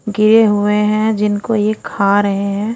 गिरे हुए है जिनको ये खा रहे है।